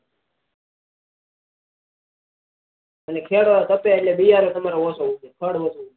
અને ખેડો તપે એટલે ઓછો ઉગે ફળ માંથી